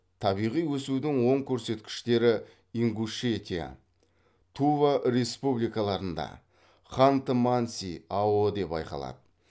табиғи өсудің оң көрсеткіштері ингушетия тува республикаларында ханты манси ао де байқалады